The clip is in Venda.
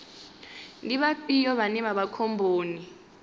ndi vhafhio vhane vha vha khomboni